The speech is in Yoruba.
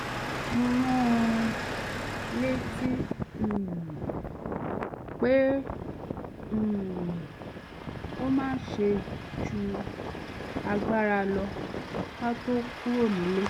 mo rán an létí um pé um kó má ṣe ju agbáralo̩ ká tó kúrò nílé